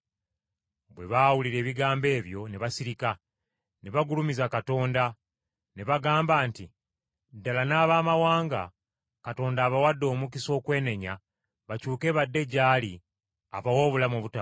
Bwe baawulira ebigambo ebyo ne basirika, ne bagulumiza Katonda! Ne bagamba nti, “Ddala, n’Abamawanga Katonda abawadde omukisa okwenenya bakyuke badde gy’ali abawe obulamu obutaggwaawo.”